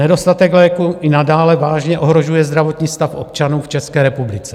Nedostatek léků i nadále vážně ohrožuje zdravotní stav občanů v České republice.